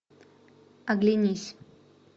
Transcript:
оглянись